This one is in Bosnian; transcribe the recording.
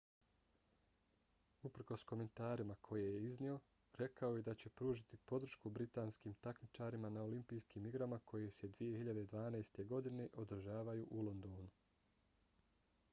uprkos komentarima koje je iznio rekao je da će pružiti podršku britanskim takmičarima na olimpijskim igrama koje se 2012. godine održavaju u londonu